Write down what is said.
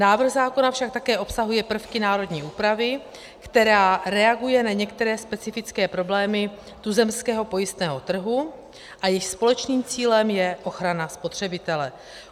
Návrh zákona však také obsahuje prvky národní úpravy, která reaguje na některé specifické problémy tuzemského pojistného trhu, a jejich společným cílem je ochrana spotřebitele.